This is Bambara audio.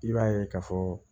I b'a ye ka fɔ